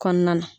Kɔnɔna na